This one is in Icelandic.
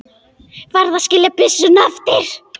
Varð að skilja byssuna eftir.